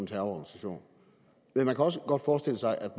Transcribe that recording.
terrororganisation men man kan også godt forestille sig at